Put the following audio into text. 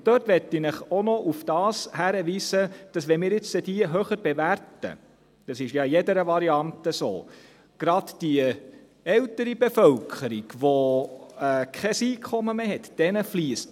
Und dort will ich Sie auch noch darauf hinweisen, dass, wenn wir diese jetzt höher bewerten – das ist ja in jeder Variante so –, gerade der älteren Bevölkerung, die kein Einkommen mehr hat, nichts zufliesst.